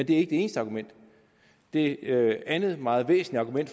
det eneste argument det andet meget væsentlige